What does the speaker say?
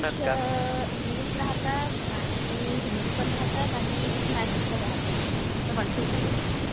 हा.. .इग्लिश राहते, हिंदीपण राहतात आणि मॅथ्सपण राहते, जसं वन, टू, थ्री